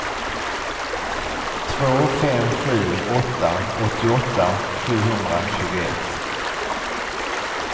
två fem sju åtta åttioåtta sjuhundratjugoett